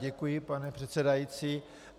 Děkuji, pane předsedající.